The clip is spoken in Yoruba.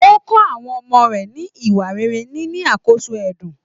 O kọ àwọn ọmọ rẹ ni ìwà rere nini àkóso ẹdun.